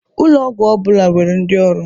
Ụlọ ọgwọ ọbụla nwere ndị ọrụ.